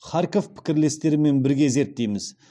харьков пікірлестерімен бірге зерттейміз